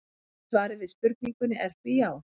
svarið við spurningunni er því já!